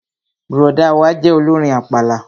Bùrọ̀dá wa jẹ́ olórin àpàlà